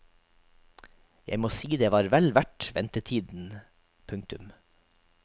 Jeg må si det var vel verdt ventetiden. punktum